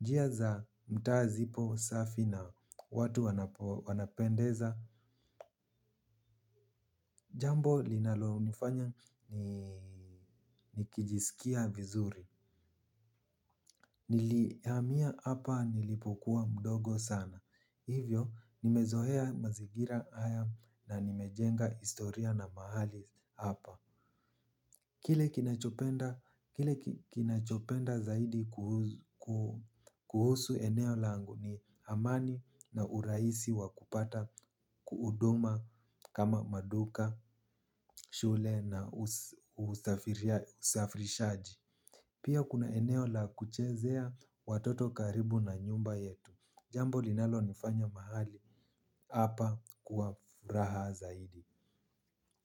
Njia za mtawa zipo safi na watu wanapendeza. Jambo linalonifanya ni nikijisikia vizuri. Niliamia hapa nilipokuwa mdogo sana. Hivyo nimezohea mazigira haya na nimejenga istoria na mahali hapa. Kile kinachopenda zaidi kuhusu eneo langu ni amani na uraisi wakupata kuuduma kama maduka, shule na usafirishaji. Pia kuna eneo la kuchezea watoto karibu na nyumba yetu. Jambo linalo nifanya mahali hapa kuwafuraha zaidi.